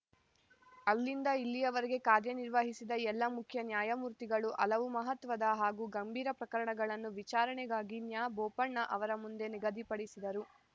ಅಲ್ಲಿಂದ ಇಲ್ಲಿಯವರೆಗೆ ಕಾರ್ಯನಿರ್ವಹಿಸಿದ ಎಲ್ಲ ಮುಖ್ಯ ನ್ಯಾಯಮೂರ್ತಿಗಳು ಹಲವು ಮಹತ್ವದ ಹಾಗೂ ಗಂಭೀರ ಪ್ರಕರಣಗಳನ್ನು ವಿಚಾರಣೆಗಾಗಿ ನ್ಯಾಬೋಪಣ್ಣ ಅವರ ಮುಂದೆ ನಿಗದಿಪಡಿಸಿದರು